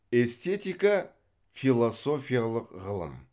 эстетика философиялық ғылым